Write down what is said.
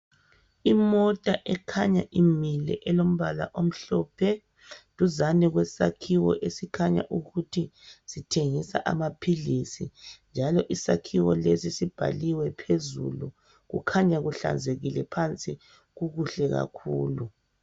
Imota ekhanya imile elombala omhlophe, duzane kwesakhiwo esikhanya ukuthi sethengisa amapilisi. Njalo isakhiwo lesi libhaliwe phezulu. Kukhanya kuhlanzekile phansi kukuhle kakhulu.